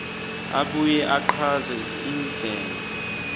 abuye achaze indlela